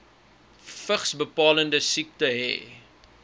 vigsbepalende siekte hê